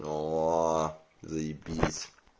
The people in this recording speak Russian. о-о-о заебись